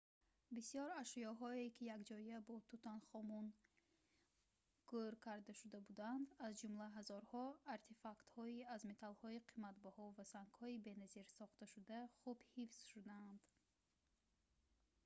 бисёр ашёҳое ки якҷоя бо тутанхамун гӯр карда шуда буданд аз ҷумла ҳазорҳо артефактҳои аз металлҳои қиматбаҳо ва сангҳои беназир сохташуда хуб ҳифз шудаанд